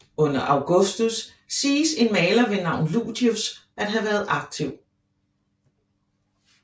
Under Augustus siges en maler ved navn Ludius at have været aktiv